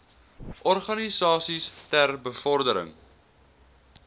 organisasies ter bevordering